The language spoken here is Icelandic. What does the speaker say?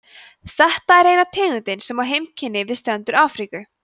þetta er eina tegundin sem á heimkynni við strendur afríku